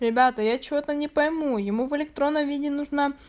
ребята я что-то не пойму ему в электронном виде нужно